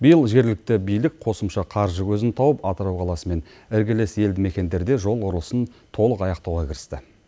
биыл жергілікті билік қосымша қаржы көзін тауып атырау қаласымен іргелес елді мекендерде жол құрылысын толық аяқтауға кірісті